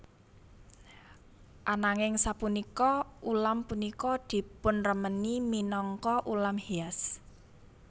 Ananging sapunika ulam punika dipunremeni minangka ulam hias